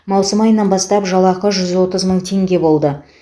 маусым айынан бастап жалақы жүз отыз мың теңге болды